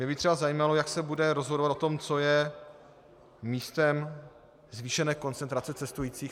Mě by třeba zajímalo, jak se bude rozhodovat o tom, co je místem zvýšené koncentrace cestujících.